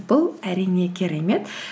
бұл әрине керемет